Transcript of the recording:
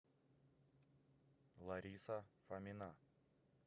лариса фомина